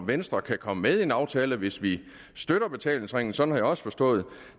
venstre kan komme med i en aftale hvis vi støtter betalingsringen sådan har jeg også forstået